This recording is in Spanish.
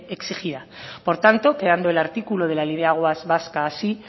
exigida por tanto quedando el artículo la ley de aguas vasca así